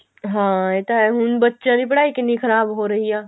ਹਾਂ ਇਹ ਤਾਂ ਹੈ ਹੁਣ ਬੱਚਿਆਂ ਦੀ ਪੜਾਈ ਕਿੰਨੀ ਖਰਾਬ ਹੋ ਰਹੀ ਆ